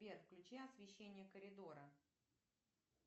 сбер включи освещение коридора